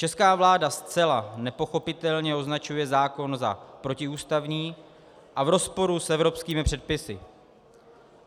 Česká vláda zcela nepochopitelně označuje zákon za protiústavní a v rozporu s evropskými předpisy.